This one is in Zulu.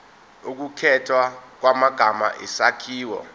ukukhethwa kwamagama isakhiwo